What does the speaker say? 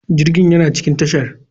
Jirgin yana cikin tashar.